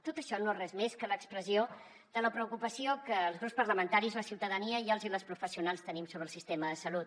tot això no és res més que l’expressió de la preocupació que els grups parlamentaris la ciutadania i els i les professionals tenim sobre el sistema de salut